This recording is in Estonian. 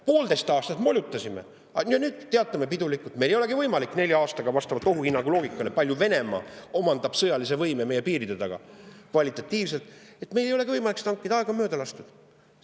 Poolteist aastat molutasime ja nüüd teatame pidulikult: meil ei olegi võimalik nelja aastaga seda hankida, hoolimata ohuhinnangu loogikast, kui Venemaa omandab sõjalise võime meie piiride taga, kvalitatiivselt, et aeg on mööda lastud.